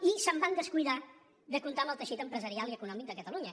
i es van descuidar de comptar amb el teixit empresarial i econòmic de catalunya